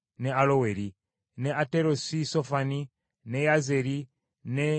ne Aterosi Sofani, ne Yazeri, ne Yogubeka;